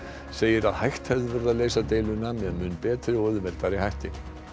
segir að hægt hefði verið að leysa deiluna með mun betri og auðveldari hætti